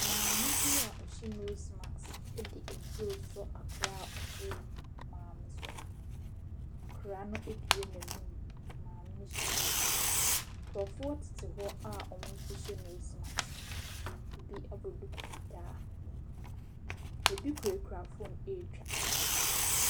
Maame bi a ɔhyɛ nose mask de aduro resɔ akwadaa a ɔte maame so. Akwadaa abue n’anum, maame no hyɛ nose mask. Nkurɔfoɔ te hɔ a wɔn so hyɛ nose mask, bi abɔ duku fitaa. Bi kurakura phone ɛretwa.